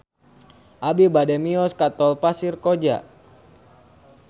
Abi bade mios ka Tol Pasir Koja